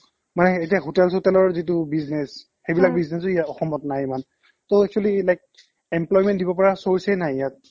hotel চোতেলৰ যিটো business হ সেইবিলাক business ও ইয়া অসমত নাই ইমান টৌ actually like employment দিব পৰা source য়ে নাই ইয়াত